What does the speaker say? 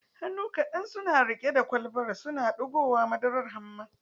Hannu kadan suna rike da kwalbar, suna digowa madarar hamma